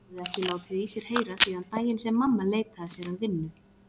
Höfðu ekki látið í sér heyra síðan daginn sem mamma leitaði sér að vinnu.